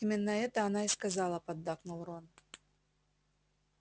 именно это она и сказала поддакнул рон